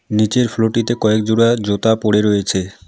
নীচের ফ্লোরটিতে কয়েক জোড়া জুতা পড়ে রয়েছে।